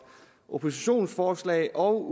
oppositionens forslag og